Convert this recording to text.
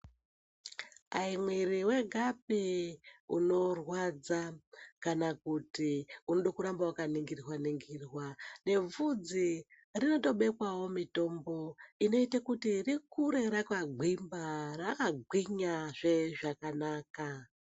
Hai mwiri wegapi unorwadza kana kuti unodo kuramba wakaningirwa-ningirwa, nebvudzi rinotobekwavo mitombo inoite kuti rikure rakagwemba, rakagwinyazve zvakanaka.